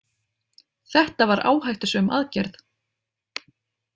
Þetta var áhættusöm aðgerð.